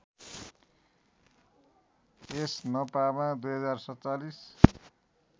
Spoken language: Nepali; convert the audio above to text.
यस नपामा २०४७